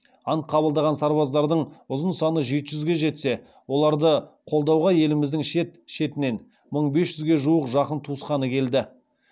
ант қабылдаған сарбаздардың ұзын саны жеті жүзе жетсе оларды қолдауға еліміздің шет шетінен мың бес жүзге жуық жақын туысқаны келді